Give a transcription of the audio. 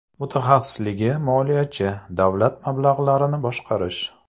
Mutaxassisligi moliyachi, davlat mablag‘larini boshqarish.